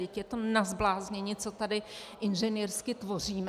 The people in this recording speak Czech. Vždyť je to na zbláznění, co tady inženýrsky tvoříme.